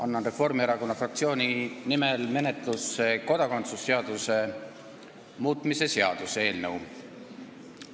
Annan Reformierakonna fraktsiooni nimel menetlusse kodakondsuse seaduse muutmise seaduse eelnõu.